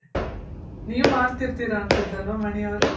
ನೀವ್ ಮಾಡ್ತಿರ್ತಿರ ಅನ್ಸುತ್ ಅಲ್ವ ಮಣಿ ಅವ್ರೆ.